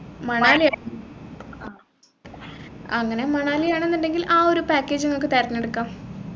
മണാലിയല്ലേ അങ്ങനെ മണാലിയാണ്ന്നുണ്ടെങ്കിൽ ആ ഒരു package നിങ്ങൾക്ക് തെരഞ്ഞെടുക്കാം